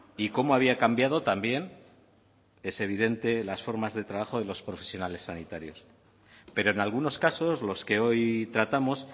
y cómo había cambiado también es evidente las formas de trabajo de los profesionales sanitarios pero en algunos casos los que hoy tratamos